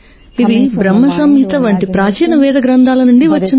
ఇది బ్రహ్మ సంహిత వంటి ప్రాచీన వేద గ్రంథాల నుండి వచ్చింది